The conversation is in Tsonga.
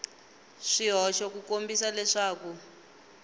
hi swihoxo ku kombisa leswaku